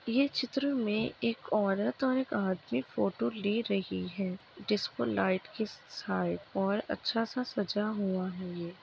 ये चित्र में एक औरत और एक आदमी फोटो ले रहे हैं जिस पर लाइट की साइड पर अच्छा सा सजा हुआ है।